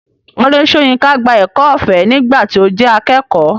Wọlé Soyinka gba ẹ̀kọ́ ọ̀fẹ́ nígbà tí ó jẹ́ akẹ́kọ̀ọ́.